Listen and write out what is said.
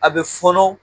A bɛ fɔnɔ